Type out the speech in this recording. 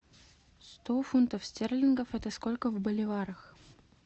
сто фунтов стерлингов это сколько в боливарах